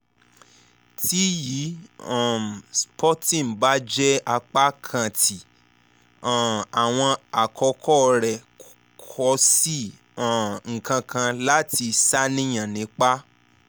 ti yi um spotting ba jẹ apakan ti um awọn akoko rẹ ko si um nkankan lati ṣàníyàn nipa